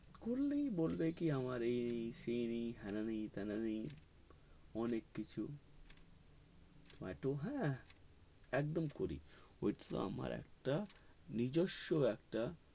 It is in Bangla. করলেই বলবে কি আমার এই নেই সেই নেই হেনা না তেনা নেই অনেক কিছু মাতু হে একদম করি ঐতো আমার একটা নিজর্স একটা